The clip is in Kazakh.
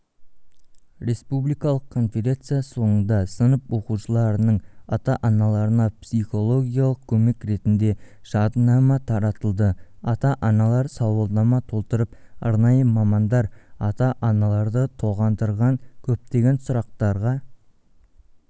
республикалық конференция соңында сынып оқушыларының ата-аналарына психологиялық көмек ретінде жадынама таратылды ата-аналар сауалнама толтырып аранайы мамандар ата-аналарды толғандырған көптегенсұрақтарға